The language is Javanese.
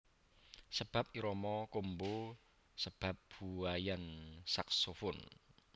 Sebab irama combo sebab buaian saxophone